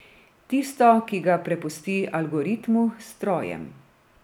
Tisto, ki ga prepusti algoritmu, strojem.